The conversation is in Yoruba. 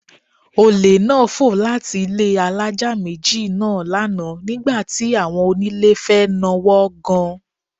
Olè náà fò láti ilé alájà méjì náà lánàá nígbà tí àwọn onílé fẹ́ nawọ́ gan